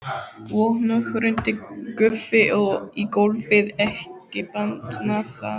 Og nú hrundi Guffi í gólfið, ekki batnaði það!